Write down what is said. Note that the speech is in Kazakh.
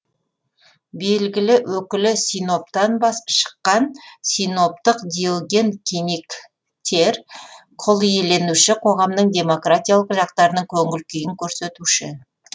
белгілі өкілі синоптан шыққан синоптық диоген киниктер құлиеленуші қоғамның демократиялық жақтарының көңіл күйін көрсетуші